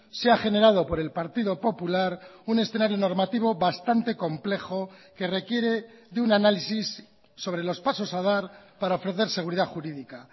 se ha generado por el partido popular un escenario normativo bastante complejo que requiere de un análisis sobre los pasos a dar para ofrecer seguridad jurídica